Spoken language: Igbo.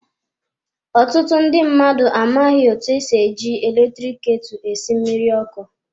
Ọtụtụ ndị mmadụ amaghị eji eletrik ketu esi mmiri ọkụ.